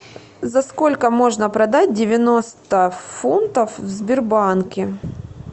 за сколько можно продать девяносто фунтов в сбербанке